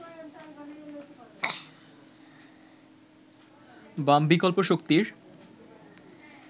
বাম বিকল্প শক্তির